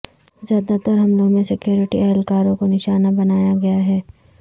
زیادہ تر حملوں میں سکیورٹی اہلکاروں کو نشانہ بنایا گیا ہے